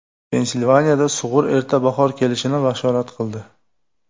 Pensilvaniyada sug‘ur erta bahor kelishini bashorat qildi .